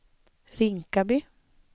Rinkaby